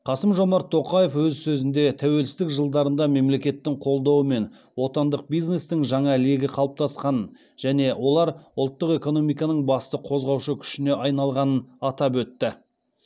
қасым жомарт тоқаев өз сөзінде тәуелсіздік жылдарында мемлекеттің қолдауымен отандық бизнестің жаңа легі қалыптасқанын және олар ұлттық экономиканың басты қозғаушы күшіне айналғанын атап өтті